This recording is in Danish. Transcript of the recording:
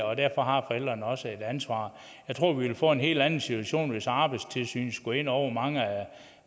og derfor har forældrene også et ansvar jeg tror vi vil få en helt anden situation hvis arbejdstilsynet skulle ind over mange